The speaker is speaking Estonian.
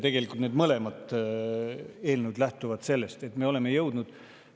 Tegelikult lähtuvad need mõlemad eelnõud sellest.